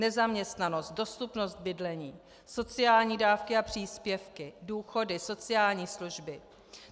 Nezaměstnanost, dostupnost bydlení, sociální dávky a příspěvky, důchody, sociální služby.